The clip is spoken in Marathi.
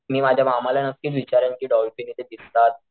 मी माझ्या मामाला नक्कीच विचारेल कि डॉल्फिन इथे दिसतात,